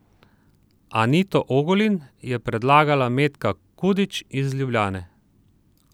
Anito Ogulin je predlagala Metka Kudič iz Ljubljane.